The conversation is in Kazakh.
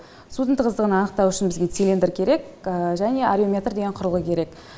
судың тығыздығын анықтау бізге цилиндер керек және алюметр деген құрылғы керек